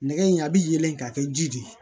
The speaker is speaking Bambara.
Nɛgɛ in a bɛ yɛlɛ ka kɛ ji de ye